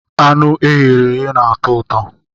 Anụ e ghere eghe na-atọ ụtọ.